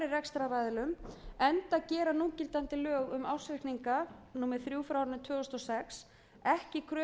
rekstraraðilum enda gera núgildandi lög um ársreikninga númer þrjú tvö þúsund og sex ekki kröfu um að minni rekstraraðilar leggi fram